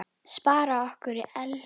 Spara orku. elskast hægt!